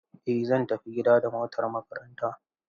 Eh zan tafi gida da motar makaranta.